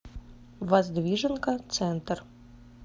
воздвиженка центр